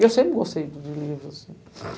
E eu sempre gostei de livros, assim.